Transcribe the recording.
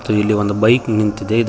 ಇಲ್ಲಿ ಒಂದು ಬೈಕ್ ನಿಂತಿದೆ ಇದ--